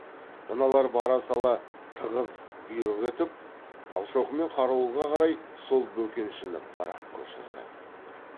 мыналар бара сала тығыз бұйрық етіп талшоқы мен қарауылға қарай сол бөкеншіні бір ақ көшірді